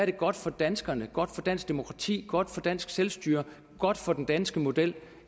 er godt for danskerne godt for dansk demokrati godt for dansk selvstyre godt for den danske model